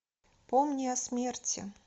помни о смерти